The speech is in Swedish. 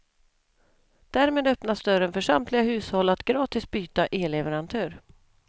Därmed öppnas dörren för samtliga hushåll att gratis byta elleverantör.